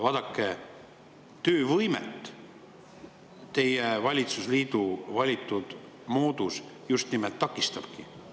Vaadake, töövõimet teie valitsusliidu valitud moodus just nimelt takistabki.